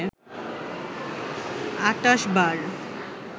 ২৮ বার